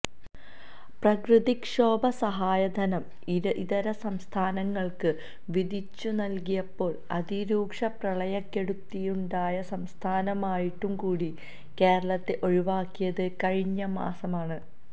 പ്രകൃതിക്ഷോഭ സഹായധനം ഇതര സംസ്ഥാനങ്ങൾക്ക് വീതിച്ചുനൽകിയപ്പോൾ അതിരൂക്ഷ പ്രളയക്കെടുതിയുണ്ടായ സംസ്ഥാനമായിട്ടുകൂടി കേരളത്തെ ഒഴിവാക്കിയത് കഴിഞ്ഞമാസമാണ്